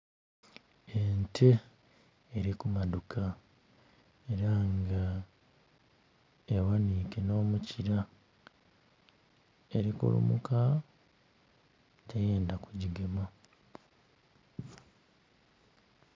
Ente eri kumadhuka era nga eghanike n'omukira, eri kulumuka teyendha kugigema.